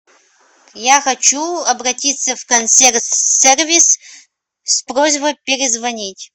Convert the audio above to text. я хочу обратиться в консьерж сервис с просьбой перезвонить